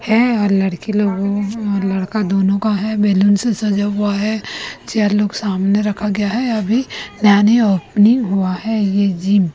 है और लड़की लोग अ लड़का दोनों का है बेलन सजा हुआ है चेयर लोग सामने रखा गया है अभी नैनी ओपनिंग हुआ है ये जिम --